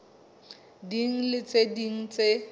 ding le tse ding tse